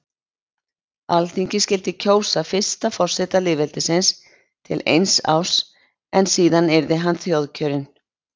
Alþingi skyldi kjósa fyrsta forseta lýðveldisins til eins árs en síðan yrði hann þjóðkjörinn.